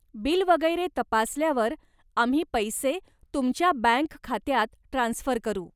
Bill वगैरे तपासल्यावर आम्ही पैसे तुमच्या बँक खात्यात ट्रान्स्फर करू.